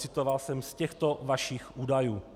Citoval jsem z těchto vašich údajů.